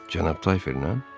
“Cənab Tayferlə?”